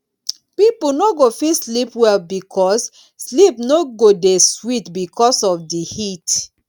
pipo no go fit sleep well because sleep no go dey sweet because of di heat